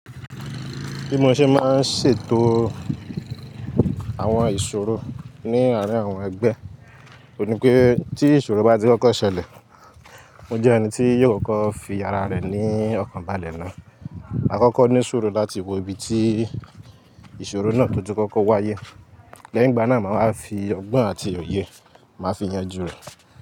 Bí mo ṣe máa ń ṣètò àwọn ìṣòro ní àárín àwọn ẹgbẹ́, òní pé tí ìṣòro bá ti kọ́kọ́ ṣẹlẹ̀, mo jẹ́ ẹni tí yóò kọ́kọ́ fi ara rẹ̀ ní ọ̀kan balẹ̀ náà. A kọ́kọ́ ní ìṣòro láti wo ibi tí ìṣòro náà to ti kọ́kọ́ wáyé, lẹ́yìn ìgbà náà máa wa fi ọgbọ́n àti òye, màá fi yanjú rẹ̀